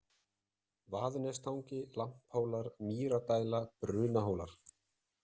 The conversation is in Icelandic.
Vaðnestangi, Lamphóll, Mýradæla, Brunahólar